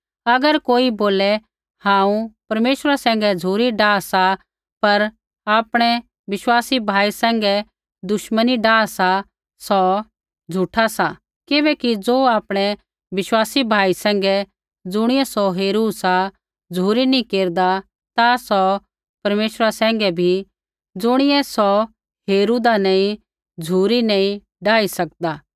अगर कोई बोले हांऊँ परमेश्वरा सैंघै झ़ुरी डाह सा पर आपणै विश्वासी भाई सैंघै दुश्मनी डाह सा सौ झूठा सा किबैकि ज़ो आपणै विश्वासी भाई सैंघै ज़ुणियै सौ हेरू सा झ़ुरी नैंई केरदा ता सौ परमेश्वरा सैंघै भी ज़ुणियै सौ हेरूदा नैंई झ़ुरी नैंई डाही सकदा